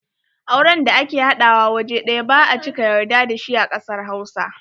Auren da ake haɗawa waje ɗaya ba a cika yarda da shi a kasar Hausa.